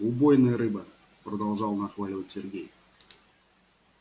убойная рыба продолжал нахваливать сергей